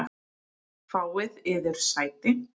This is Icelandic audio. Fáið yður sæti.